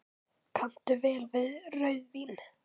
Kanntu vel við rauðvín?